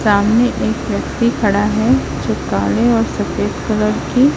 सामने एक व्यक्ति खड़ा है जो काले और सफेद कलर की--